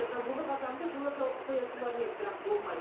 жабулы қазанды жылы жауып қоя салар ма еді бірақ болмайды